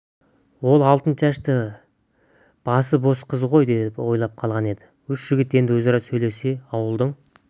ол алтыншашты басы бос қыз ғой деп ойлап қалған еді үш жігіт енді өзара сөйлесе ауылдың